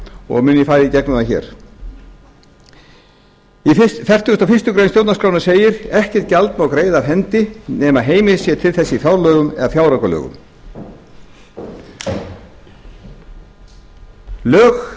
og mun ég fara í gegnum það hér í fertugustu og fyrstu grein stjórnarskrárinnar segir ekkert gjald má greiða af hendi nema heimild sé til þess í fjárlögum eða fjáraukalögum lög